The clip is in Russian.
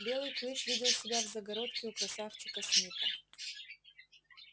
белый клык видел себя в загородке у красавчика смита